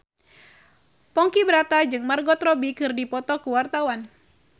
Ponky Brata jeung Margot Robbie keur dipoto ku wartawan